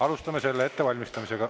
Alustame selle ettevalmistamist.